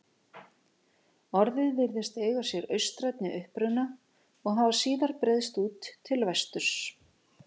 Orðið virðist eiga sér austrænni uppruna og hafa síðar breiðst út til vesturs.